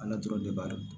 Ala dɔrɔn de b'a dɔn